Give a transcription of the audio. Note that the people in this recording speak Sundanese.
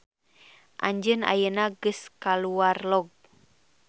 Anjeun ayeuna geus kaluar log.